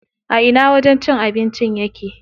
A ina wajen cin abincin yake?